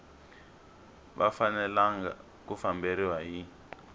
va fanelanga ku famberiwa hi